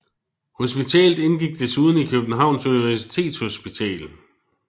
Hospitalet indgik desuden i Københavns Universitetshospital